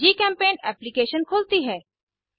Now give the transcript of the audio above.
जीचेम्पेंट application खुलती है